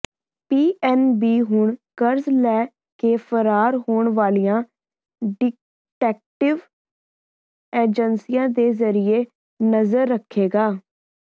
PNB ਹੁਣ ਕਰਜ਼ ਲੈ ਕੇ ਫਰਾਰ ਹੋਣ ਵਾਲਿਆਂ ਡਿਟੈਕਟਿਵ ਏਜੰਸੀਆਂ ਦੇ ਜਰੀਏ ਨਜ਼ਰ ਰੱਖੇਗਾ